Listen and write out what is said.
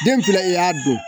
Den fila in y'a don